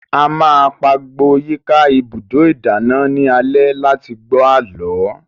A máa pagbo yíká ibùdó ìdáná ní alẹ́ láti gbọ́ àlọ́